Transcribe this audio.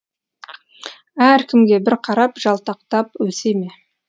әркімге бір қарап жалтақтап өсе ме